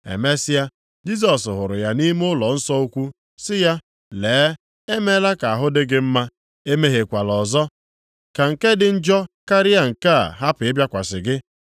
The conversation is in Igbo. Emesịa, Jisọs hụrụ ya nʼime ụlọnsọ ukwu sị ya, “Lee, e mela ka ahụ dị gị mma, emehiekwala ọzọ ka nke dị njọ karịa nke a hapụ ịbịakwasị gị.”